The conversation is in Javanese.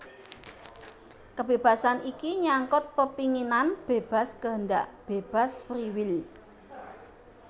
Kebébasan iki nyangkut pepinginan bébas kehendak bebas free will